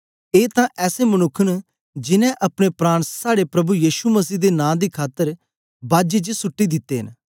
ए तां ऐसे मनुक्ख न जिनैं अपने प्राण साड़े प्रभु यीशु मसीह दे नां दी खातर बाजी च सुट्टी दिते न